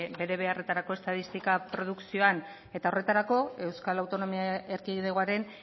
bere beharretarako estatistika produkzioan eta horretarako euskal autonomia erkidegoaren